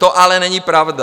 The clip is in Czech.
To ale není pravda.